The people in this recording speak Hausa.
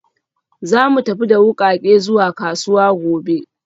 Za mu tafi da wukake zuwa kasuwa gobe